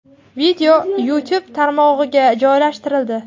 Video YouTube tarmog‘iga joylashtirildi.